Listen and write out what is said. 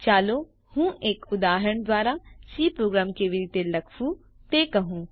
ચાલો હું એક ઉદાહરણ દ્વારા સી પ્રોગ્રામ કેવી રીતે લખવું તે કહું